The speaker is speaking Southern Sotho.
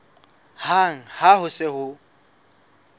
hang ha ho se ho